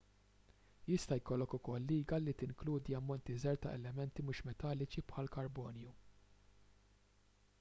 jista' jkollok ukoll liga li tinkludi ammonti żgħar ta' elementi mhux metalliċi bħall-karbonju